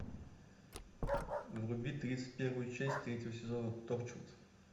вруби тридцать первую часть третьего сезона торчвуд